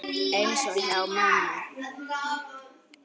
Eins og hjá mömmu.